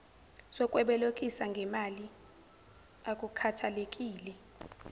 sokwebolekisa ngemali akukhathalekile